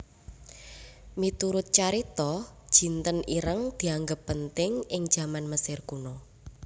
Miturut carita jinten ireng dianggep penting ing jaman Mesir Kuna